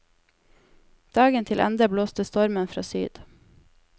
Dagen til ende blåste stormen fra syd.